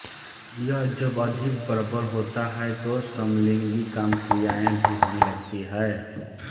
यह जब अधिक प्रबल होता है तो समलिंगी कामक्रियाएँ भी होने लगती हैं